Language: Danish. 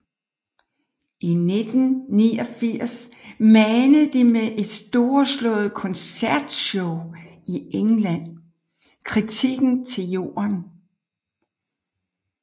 I 1989 manede de med et storslået koncertshow i England kritikken til jorden